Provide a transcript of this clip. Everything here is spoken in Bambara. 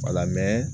Wala